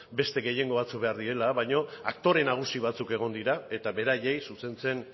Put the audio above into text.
beste gehiengo batzuk behar direla baina aktore nagusi batzuk egon dira eta beraiei zuzentzen